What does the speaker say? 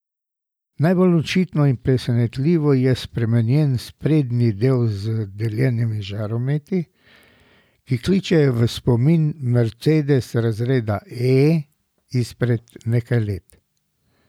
Najbolj očitno in presenetljivo je spremenjen sprednji del z deljenimi žarometi, ki prikličejo v spomin mercedes razreda E izpred nekaj let.